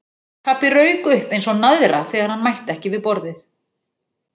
Pabbi rauk upp eins og naðra þegar hann mætti ekki við borðið.